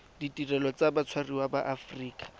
ditirelo tsa batshwariwa ba aforika